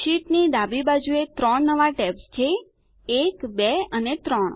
શીટની ડાબી બાજુએ 3 નવા ટૅબ્સ છે 1 2 અને 3